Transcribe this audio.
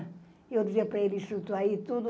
E eu dizia para ele, chutou aí tudo.